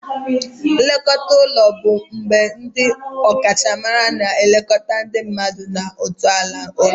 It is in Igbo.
Nlekọta ụlọ bụ mgbe ndi ọkachamara na-elekọta ndị mmadụ na ntọala ụlọ.